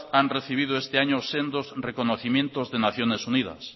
han recibido este año sendos reconocimiento de naciones unidas